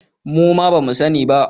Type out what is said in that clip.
Muma ba mu sani ba